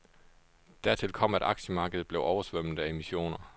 Dertil kom, at aktiemarkedet blev oversvømmet af emissioner.